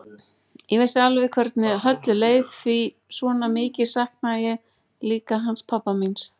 Ég vissi alveg hvernig Höllu leið því svona mikið saknaði ég líka hans pabba míns.